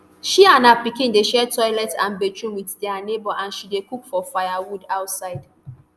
she and her pikin dey share toilet and bathroom wit dia neighbour and she dey cook for firewood outside